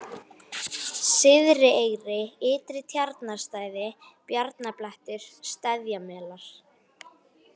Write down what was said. Syðrieyri, Ytri-Tjarnarstæði, Bjarnablettur, Steðjamelar